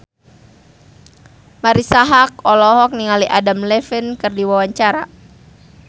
Marisa Haque olohok ningali Adam Levine keur diwawancara